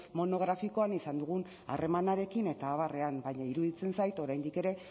monografikoan izan dugun harremanarekin eta abarrean baina iruditzen zait oraindik ere